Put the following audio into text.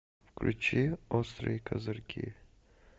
включи острые козырьки